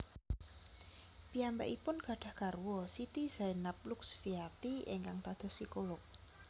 Piyambakipun gadhah garwa Siti Zainab Luxfiati ingkang dados psikolog